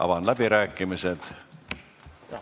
Avan läbirääkimised.